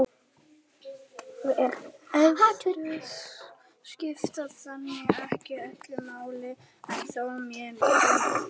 erfðir skipta þannig ekki öllu máli en þó mjög miklu máli